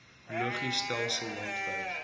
logis stelsel landwyd